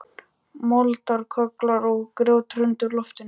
Moldarkögglar og grjót hrundi úr loftinu.